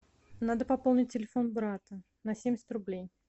надо пополнить телефон брата на семьдесят рублей